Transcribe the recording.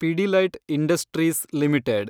Pidilite industries limited